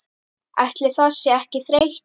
Ætli það sé ekki þreyta